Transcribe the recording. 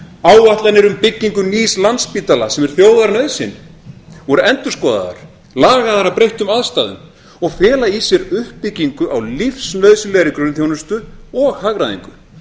áætlanir um byggingu nýs landspítala sem er þjóðarnauðsyn voru endurskoðaðar lagaðar að breyttum aðstæðum og fela í sér uppbyggingu á lífsnauðsynlegri grunnþjónustu og hagræðingu